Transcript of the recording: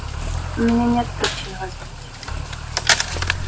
у меня нет причин вас бить